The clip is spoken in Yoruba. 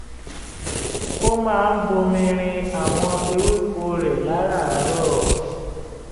ó máa ń bomi rin àwọn ewéko rẹ̀ láràárọ̀